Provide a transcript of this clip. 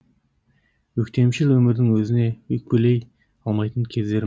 өктемшіл өмірдің өзіне өкпелей алмайтын кездерім